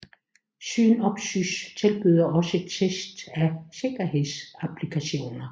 Synopsys tilbyder også test af sikkerhedsapplikationer